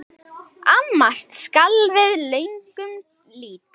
Amast skal við lögnum lítt.